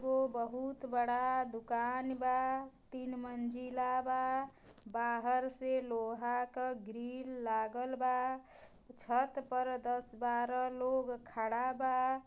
ओ बहुत बड़ा दुकान बा तीन मंजिला बा बाहर से लोहा का ग्रील लागल बा छत पर दस-बारह लोग खड़ा बा।